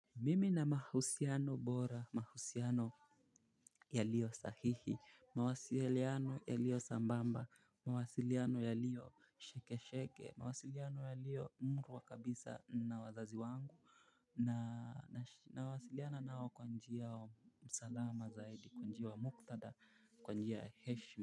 Mimi na mahusiano bora, mahusiano ya lio sahihi, mawasiliano ya lio sambamba, mawasiliano ya lio sheke sheke, mawasiliano ya lio mru wa kabisa na wazazi wangu. Na mawasiliana nao kwa njia msalama zaidi, kwa njia wa muktada, kwa njia heshmi.